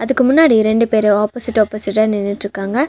இதுக்கு முன்னாடி ரெண்டு பேரு ஆப்போசிட் ஆப்போசிட்டா நின்னுட்ருக்காங்க.